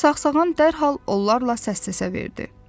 Saqsağan da dərhal onlarla səssəsə verdi.